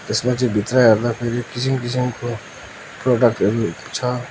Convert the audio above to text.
यसमा चाहिँ भित्र हेर्दाखेरि किसिम किसिमको प्रगातहरू छ।